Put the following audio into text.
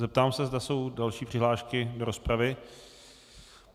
Zeptám se, zda jsou další přihlášky do rozpravy.